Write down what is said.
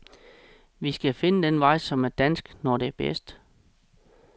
Vi skal finde den vej, som er dansk, når det er bedst.